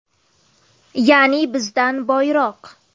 Ya’ni bizdan boyroq.